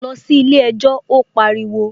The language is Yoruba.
Lọ sí ilé ẹjọ́! Ó pariwo